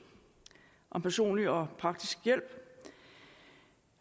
om personlig og praktisk hjælp